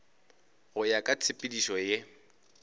go ya ka tshepedišo ye